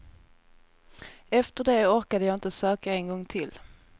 Efter det orkade jag inte söka en gång till.